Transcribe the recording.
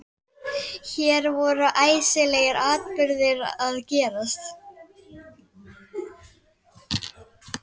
Hér voru æsilegir atburðir að gerast.